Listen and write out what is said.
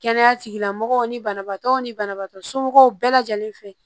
Kɛnɛya tigilamɔgɔw ni banabaatɔw ni banabaatɔ somɔgɔw bɛɛ lajɛlen fɛ